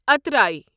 اترای